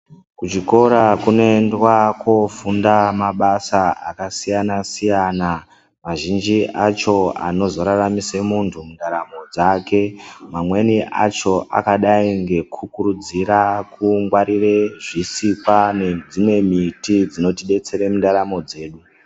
Kuzvikora kunoendwa kofundwa mabasa akasiyana-siyana. Azhinji acho anozoraramise muntu mundaramo dzake. Mamweni acho akadai ngekukurudzira kungwarire zvisikwa neddzimwe miti dzinotidetsera mundaramo yedu.